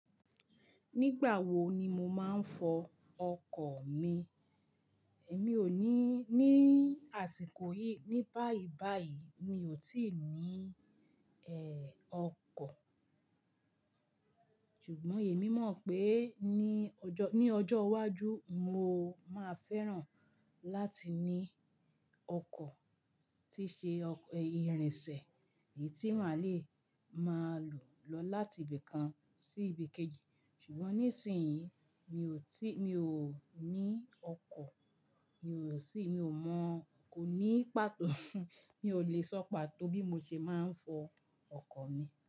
Nígbà wo ni mo máa ń fọ ọkọ̀ mi? Èmi ò ní, ní àsìkò yìí, ní báyìí báyìí mi ò tíì ní, ẹ, ọkọ̀. Ṣùgbọ́n èmi mọ̀ pé ní ọjọ́, ní ọjọ́ iwájú mo máa fẹ́ràn láti ní ọkọ̀ tí ṣe ìrìnsẹ̀ èyí tí màá le máa lò lọ láti ibì kan sí ibì kejì. Ṣùgbọ́n nísìn yii mi ò tí, mi ò ní ọkọ̀, mi ò sì, mi ò mọ̀, kò ní pàtó mi ò le sọ pàtó bí mo ṣe máa ń fọ ọkọ̀ mi.